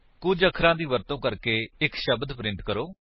ਕੁੱਝ ਅੱਖਰਾਂ ਦੀ ਵਰਤੋ ਕਰਕੇ ਇੱਕ ਸ਼ਬਦ ਪ੍ਰਿੰਟ ਕਰੋ